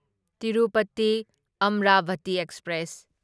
Tirupati Amravati express